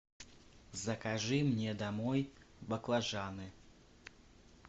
закажи мне домой баклажаны